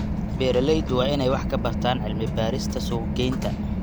Beeraleydu waa inay wax ka bartaan cilmi-baarista suuq-geynta.